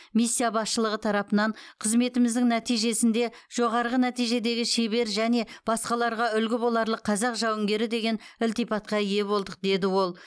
миссия басшылығы тарапынан қызметіміздің нәтижесінде жоғарғы нәтижедегі шебер және басқаларға үлгі боларлық қазақ жауынгері деген ілтипатқа ие болдық деді ол